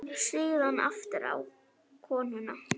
Síðan aftur á konuna.